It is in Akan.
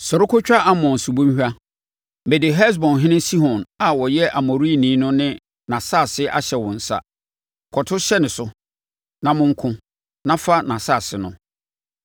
“Sɔre kɔtwa Arnon subonhwa. Mede Hesbonhene Sihon a ɔyɛ Amorini no ne nʼasase ahyɛ wo nsa. Kɔto hyɛ ne so, na monko, na fa nʼasase no.